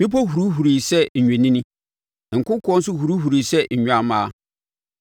Mmepɔ hurihurii sɛ nnwennini nkokoɔ nso hurihurii sɛ nnwammaa.